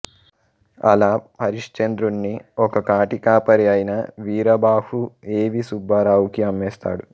అలా హరిశ్చంద్రుణ్ణి ఒక కాటికాపరి అయిన వీరబాహు ఎ వి సుబ్బారావుకి అమ్మేస్తాడు